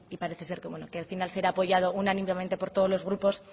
parece ser que el final será apoyado unánimemente por todos los grupos